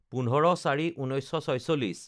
১৫/০৪/১৯৪৬